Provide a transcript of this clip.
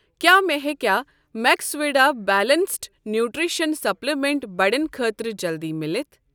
کیٛاہ مےٚ ہیٚکیٛاہ میکسویڈا بیلنٛسڈ نیوٗٹرٛشن سپلِمنٛٹ بڑٮ۪ن خٲطرٕ جلدِی مِلِتھ؟